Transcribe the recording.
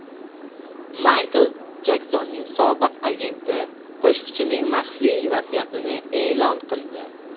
Maykl Jeksonning sobiq agenti qo‘shiqchining maxfiy vasiyatini e’lon qildi.